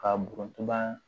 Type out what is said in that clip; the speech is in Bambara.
Ka burantuba